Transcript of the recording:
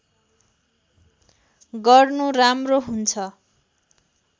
गर्नु राम्रो हुन्छ